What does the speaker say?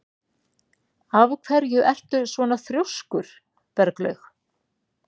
Af hverju ertu svona þrjóskur, Berglaug?